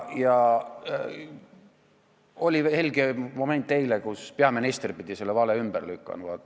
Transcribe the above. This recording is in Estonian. Eile oli helge moment: peaminister pidi selle vale ümber lükkama.